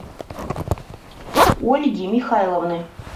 ольги михайловны